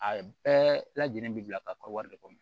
A bɛɛ lajɛlen bi bila ka kɔ wari de kɔnɔ